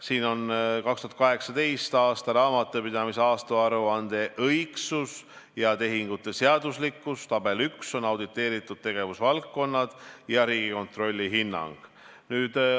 Siin on aruanne "Riigi 2018. aasta raamatupidamise aastaaruande õigsus ja tehingute seaduslikkus", tabel 1 "Auditeeritud tegevusvaldkonnad ja Riigikontrolli hinnangud".